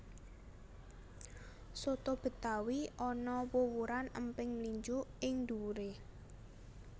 Soto betawi ana wuwuran emping mlinjo ing dhuwuré